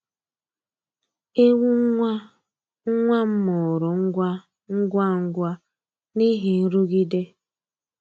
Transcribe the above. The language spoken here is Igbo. Ewu nwa nwa m mụrụ ngwa ngwa ngwa n’ihi nrụgide.